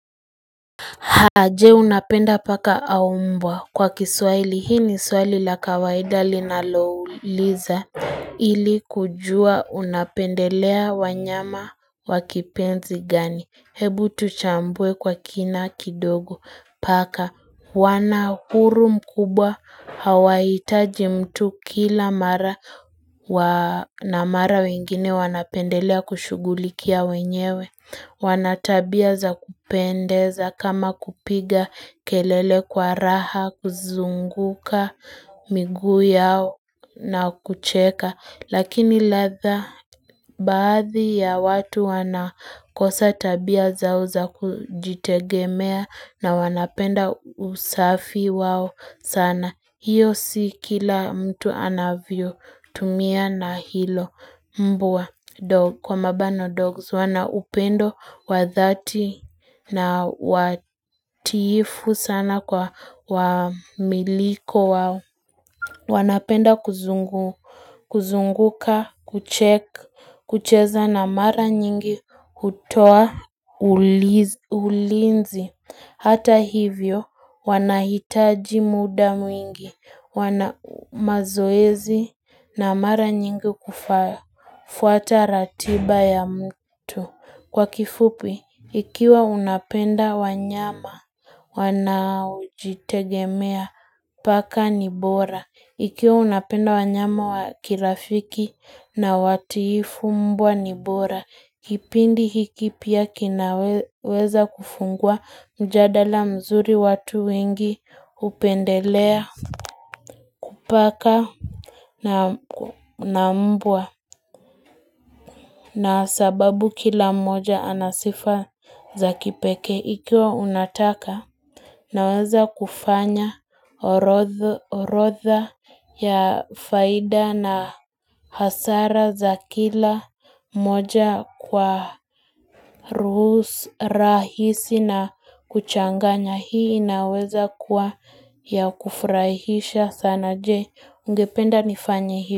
Je, unapenda paka au mbwa? Kwa kiswaili, hii ni swaili la kawaida linalouliza ili kujua unapendelea wanyama wa kipenzi gani, hebu tuchambue kwa kina kidogo paka wana uhuru mkubwa, hawahitaji mtu kila mara na mara wengine wanapendelea kushughulikia wenyewe wana tabia za kupendeza, kama kupiga kelele kwa raha, kuzunguka miguu yao na kucheka. Lakini ladha baadhi ya watu wanakosa tabia zao za kujitegemea, na wanapenda usafi wao sana. Hiyo si kila mtu anavyotumia na hilo mbwa Kwa mabano 'dogs', wanaupendo wadhati na watiifu sana kwa wamiliki wao wanapenda kuzunguka, kuchek, kucheza na mara nyingi, hutoa, ulinzi Hata hivyo, wanahitaji muda mwingi, wanamazoezi, na mara nyingi kufaya fuata ratiba ya mtu. Kwa kifupi, ikiwa unapenda wanyama wanaojitegemea paka ni bora. Ikiwa unapenda wanyama wa kirafiki na watiifu, mbwa ni bora. Kipindi hiki pia kinaweza kufungua mjadala mzuri, watu wengi hupendelea paka na mbwa na sababu kila moja ana sifa za kipekee, ikiwa unataka Naweza kufanya orodha ya faida na hasara za kila moja kwa ruhus rahisi na kuchanganya, hii inaweza kuwa ya kufrahisha sana, Je, ungependa nifanye hii?